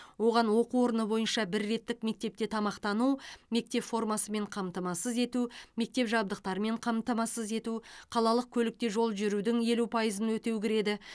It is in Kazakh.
оған оқу орны бойынша бір реттік мектепте тамақтану мектеп формасымен қамтамасыз ету мектеп жабдықтарымен қамтамасыз ету қалалық көлікте жол жүрудің елу пайызын өтеу кіреді